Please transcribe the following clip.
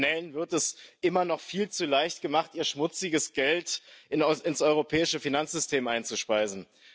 Kriminellen wird es immer noch viel zu leicht gemacht, ihr schmutziges Geld ins europäische Finanzsystem einzuspeisen.